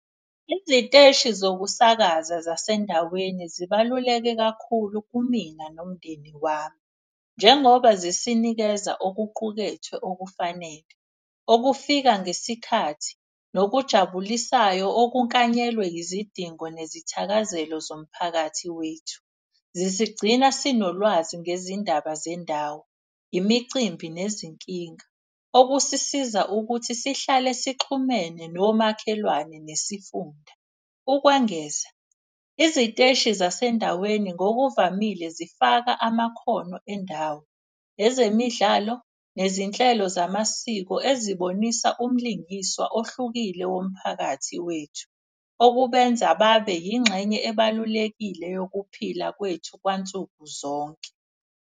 Iziteshi zokusakaza zasendaweni zibaluleke kakhulu kumina nomndeni wami njengoba zisinikeza okuqukethwe okufanele. Okufika ngesikhathi nokujabulisayo, okukanyelwe izidingo nezithakazelo zomphakathi wethu. Zisigcina sinolwazi ngezindaba zendawo, imicimbi, nezinkinga, okusisiza ukuthi sihlale sixhumene nomakhelwane nesifunda. Ukwengeza, iziteshi zasendaweni ngokuvamile zifaka amakhono endawo, ezemidlalo, nezinhlelo zamasiko ezibonisa umlingiswa ohlukile womphakathi wethu. Okubenza babe yingxenye ebalulekile yokuphila kwethu kwansukuzonke.